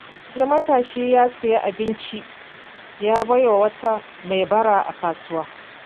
Wani matashi ya sayi abinci ya bai wa wata mai bara a kasuwa.